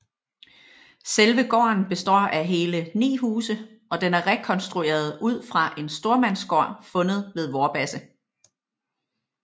Selve gården består af hele 9 huse og den er rekonstrueret ud fra en stormandsgård fundet ved Vorbasse